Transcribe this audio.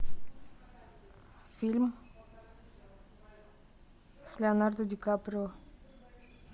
фильм с леонардо ди каприо